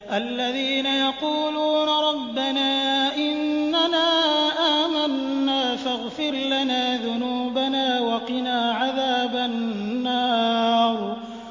الَّذِينَ يَقُولُونَ رَبَّنَا إِنَّنَا آمَنَّا فَاغْفِرْ لَنَا ذُنُوبَنَا وَقِنَا عَذَابَ النَّارِ